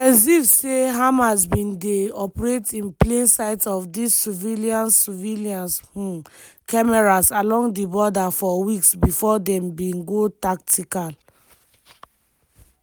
gen ziv say hamas bin dey operate in plain sight of dis surveillance surveillance um cameras along di border for weeks bifor dem bin go tactical